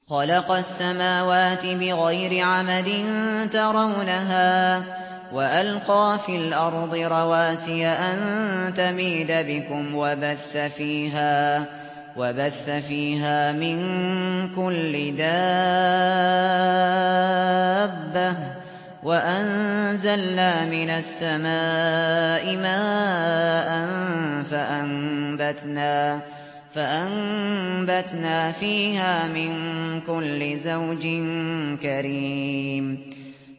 خَلَقَ السَّمَاوَاتِ بِغَيْرِ عَمَدٍ تَرَوْنَهَا ۖ وَأَلْقَىٰ فِي الْأَرْضِ رَوَاسِيَ أَن تَمِيدَ بِكُمْ وَبَثَّ فِيهَا مِن كُلِّ دَابَّةٍ ۚ وَأَنزَلْنَا مِنَ السَّمَاءِ مَاءً فَأَنبَتْنَا فِيهَا مِن كُلِّ زَوْجٍ كَرِيمٍ